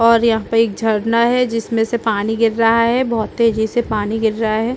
और यहाँ पे एक झरना है जिसमे से पानी गिर रहा है बहोत तेज़ी से पानी गिर रहा है।